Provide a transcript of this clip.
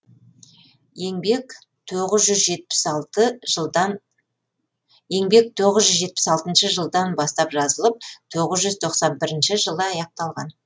еңбек тоғыз жүз жетпіс алтыншы жылдан бастап жазылып тоғыз жүз тоқсан бірінші жылы аяқталған